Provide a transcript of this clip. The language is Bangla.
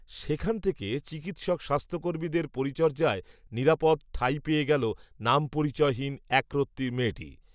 সেখান থেকে চিকিত্সক স্বাস্থ্যকর্মীদের পরিচর্যায় নিরাপদ, ঠাঁই পেয়ে গেল, নামপরিচয়হীন, একরত্তি মেয়েটি